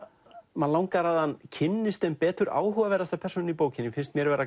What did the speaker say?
mann langar að hann kynnist þeim betur áhugaverðasta persónan í bókinni finnst mér vera